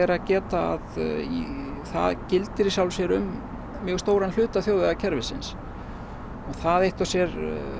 að geta að það gildir um mjög stóran hluta þjóðvegakerfisins og það eitt og sér